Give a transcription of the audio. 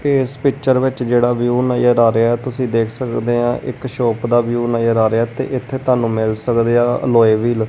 ਇਸ ਪਿੱਚਰ ਵਿੱਚ ਜਿਹੜਾ ਵਿਊ ਨਜ਼ਰ ਆ ਰਿਹਾ ਤੁਸੀਂ ਦੇਖ ਸਕਦੇ ਆ ਇੱਕ ਸ਼ੋਪ ਦਾ ਵਿਊ ਨਜ਼ਰ ਆ ਰਿਹਾ ਤੇ ਇੱਥੇ ਤੁਹਾਨੂੰ ਮਿਲ ਸਕਦੇ ਆ ਲੋਏ ਵੀਲ